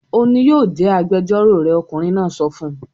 "Òun ni yóò jẹ́ agbẹjọ́rò rẹ!" Ọkùnrin náà sọ fún un.